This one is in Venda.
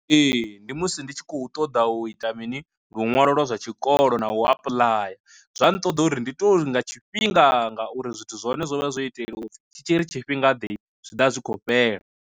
Ee ndi musi ndi tshi khou ṱoḓa u ita mini luṅwalo lwa zwa tshikolo na u apuḽaya, zwa nṱoḓa uri ndi tori nga tshifhinga ngauri zwithu zwa hone zwo vha zwo itelwa u pfhi tshi tshiri tshifhinga ḓe zwi ḓa zwi khou fhela.